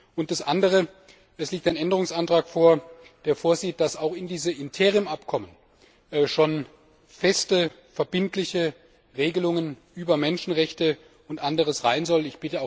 Und das Andere Es liegt ein Änderungsantrag vor, der vorsieht, dass auch in diese Interimsabkommen schon feste verbindliche Regelungen über Menschenrechte und anderes aufgenommen werden sollen.